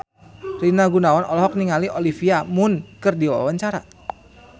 Rina Gunawan olohok ningali Olivia Munn keur diwawancara